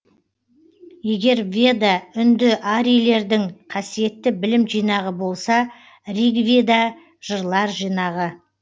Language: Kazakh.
егер веда үндіарийлердің қасиетті білім жинағы болса ригведа жырлар жинағы